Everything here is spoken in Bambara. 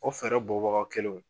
O fɛɛrɛ bɔ baga kelenw